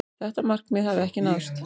Þetta markmið hafi ekki náðst.